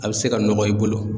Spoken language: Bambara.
A bɛ se ka nɔgɔ i bolo.